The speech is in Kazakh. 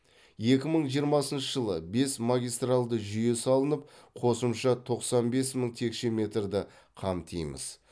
екі мың жиырмасыншы жылы бес магистралды жүйе салынып қосымша тоқсан бес мың текше метрді қамтимыз